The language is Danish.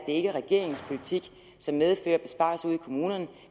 ikke er regeringens politik som medfører besparelser ude i kommunerne